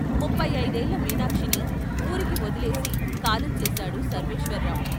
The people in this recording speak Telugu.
ముప్పయి అయిదేళ్ళ మీనాక్షిని వూరికి వొదిలేసి కాలం చేశాడు సర్వేశ్వరర్రావు.